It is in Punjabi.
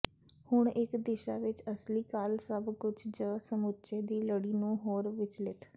ਹੁਣ ਇੱਕ ਦਿਸ਼ਾ ਵਿੱਚ ਅਸਲੀ ਕਾਲ ਸਭ ਕੁਝ ਜ ਸਮੁੱਚੇ ਦੀ ਲੜੀ ਨੂੰ ਹੋਰ ਵਿਚਲਿਤ